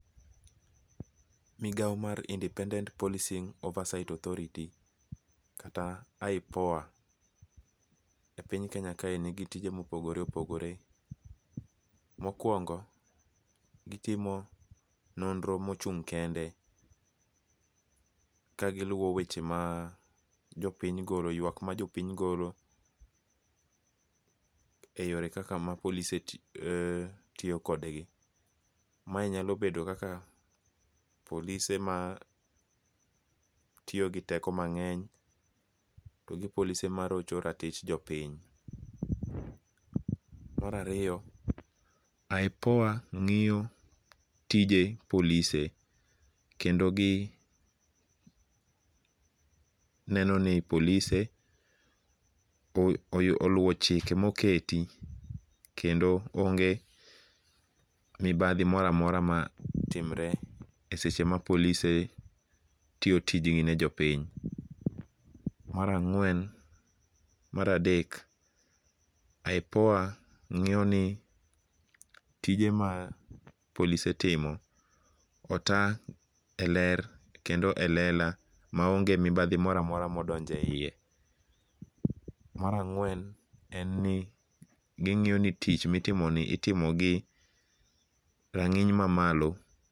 Migao mar Independent Policing Oversight Authority kata IPOA, e piny Kenya kae nigi tije mopogore opogore, mokuongo gitimo nonro mochung' kende ka giluo weche ma jopiny golo ywak mar jopiny golo, e yore ka ma polise tiyo kodgi, mae nyalo bedo kaka polise ma tiyo gi teko mange'ny to gipolise marocho ratich jo piny. Marariyo IPOA ngi'yo tije polise kendo gineno ni polise oluo chike moketi kendo onge' mibathi mora mora ma timre e seche ma polise tiyo tijgi ne jopiny. Marang'we maradek IPOA ngi'yo ni tije ma polise timo ota e ler kendo e lela maonge mibathi mora mora ma odonjo e hiye. Marang'wen en ni gingi'yo ni tich mitimoni itimo gi rangi'ny mamalo.